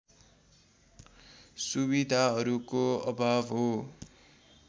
सुविधाहरूको अभाव हो